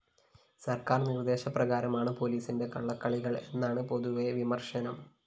സര്‍ക്കാര്‍ നിര്‍ദ്ദേശ പ്രകാരണമാണ് പോലീസിന്റെ കള്ളക്കളികള്‍ എന്നാണ് പൊതുവേ വിമര്‍ശനം